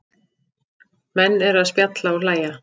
Menn eru að spjalla og hlæja